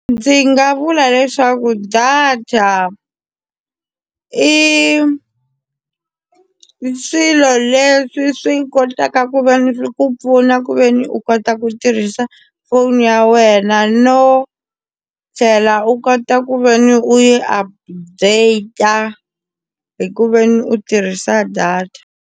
Ndzi nga vula leswaku data i swilo leswi swi kotaka ku ve ni ku pfuna ku ve ni u kota ku tirhisa foni ya wena no tlhela u kota ku ve ni u yi update hi ku veni u tirhisa data.